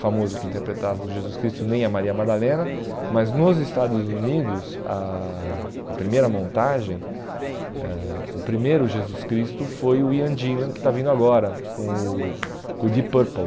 famoso que interpretava o Jesus Cristo, nem a Maria Madalena, mas nos Estados Unidos, a a primeira montagem, eh o primeiro Jesus Cristo foi o Ian Ginland, que está vindo agora com o com o Deep Purple.